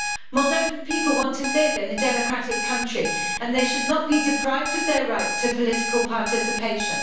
Moldovan people want to live in a democratic country and they should not be deprived of their right to political participation.